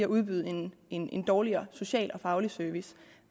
udbyde en en dårligere social og faglig service